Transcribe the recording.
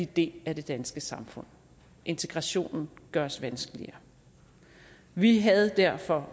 del af det danske samfund integrationen gøres vanskeligere vi havde derfor